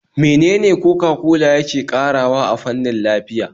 Menene Coca-cola yake ƙarawa a fannin lafiya?